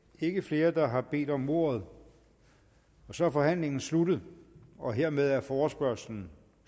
ikke flere der har bedt om ordet og så er forhandlingen sluttet og hermed er forespørgslen